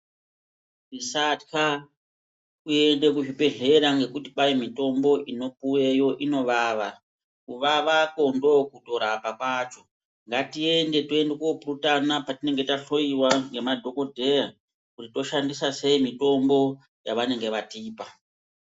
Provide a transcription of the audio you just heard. Tisatya kuenda kuzvibhehleya ngekuti kwai mitombo inopuweyo inovava kuvavako ndokutorapa kwacho ngatiende tinopurutana patinenge tahloiwa ngemadhokodheya kuti toshandiaa seyi mitombo yavanenge vatipa.